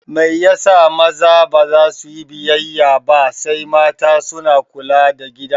Mai yasa maza baza suyi biyayya ba sai mata suna kula da gida?